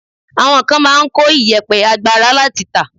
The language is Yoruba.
Àwọn kan máa ń kó ìyẹ̀pẹ̀ àgbàrá láti tà.